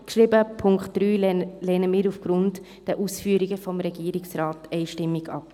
Den Punkt 3 lehnen wir aufgrund der Ausführungen des Regierungsrates einstimmig ab.